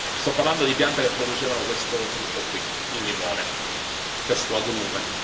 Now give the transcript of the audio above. Sto parlando di piante che producevano questo frutto qui il limone, questo agrume.